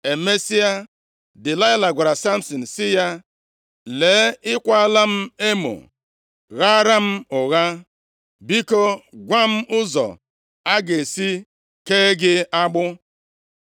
Emesịa, Delaịla gwara Samsin sị ya, “Lee, ị kwaala m emo, ghaara m ụgha. Biko, gwa m ụzọ a ga-esi kee gị agbụ.”